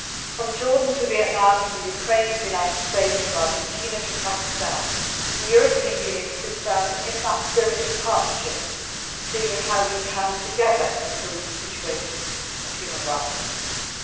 From Jordan to Vietnam, from Ukraine to the United States, from Argentina to Pakistan, the European Union sits down in the spirit of partnership to see how we can, together, improve the human rights situation.